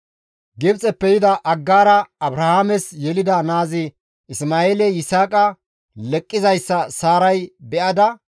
Gibxeppe yida Aggaara Abrahaames yelida naazi Isma7eeley Yisaaqa leqqizayssa Saaray be7ada,